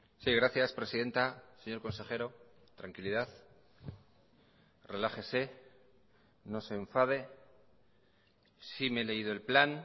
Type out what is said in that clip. sí gracias presidenta señor consejero tranquilidad relájese no se enfade sí me he leído el plan